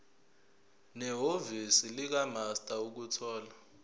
nehhovisi likamaster ukuthola